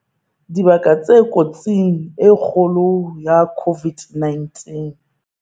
Dibaka tse kotsing e kgolo ya COVID-19